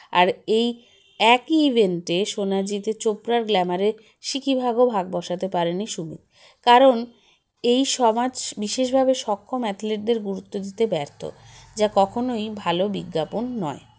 আর এই একই event -এ সোনা জিতে চোপড়ার glamour -এ সিকিভাগও ভাগ বসাতে পারেনি সুমিত কারণ এই সমাজ বিশেষ ভাবে সক্ষম athlete দের গুরুত্ব দিতে ব্যর্থ যা কখনোই ভালো বিজ্ঞাপন নয়